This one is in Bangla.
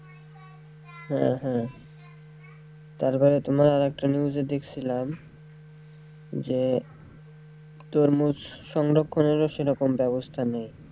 হ্যাঁ হ্যাঁ তারপরে তোমার একটা news এ দেখছিলাম যে তরমুজ সংরক্ষনের ও সেরকম বেবস্থা নেই।